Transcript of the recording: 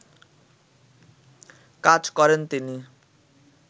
কাজ করেনতিনি